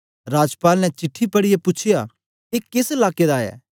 राजपाल ने चिट्ठी पढ़ीयै पूछ्या ए केस लाकें दा ऐ